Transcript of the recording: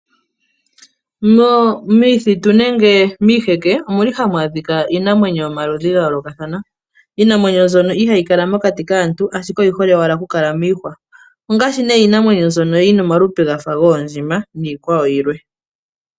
Momithitu nenge miiheke ohamu adhika iinamwenyo yomaludhi ga yoolokathana iinamwenyo mbyoka ihayi kala mokati kaantu, ashike oyi hole ashike okukala miihwa ongaashi nee iinamwenyo mbyono yi na omalupe ga fa goondjima niikwawo yilwe.